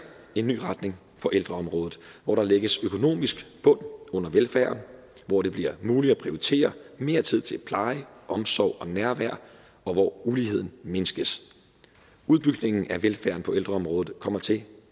en ny retning for ældreområde hvor der lægges en økonomisk bund under velfærden hvor det bliver muligt at prioritere mere tid til pleje omsorg og nærvær og hvor uligheden mindskes udbygningen af velfærden på ældreområdet kommer til at